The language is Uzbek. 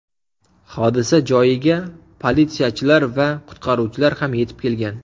Hodisa joyiga politsiyachilar va qutqaruvchilar ham yetib kelgan.